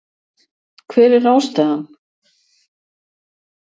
Hver er ástæðan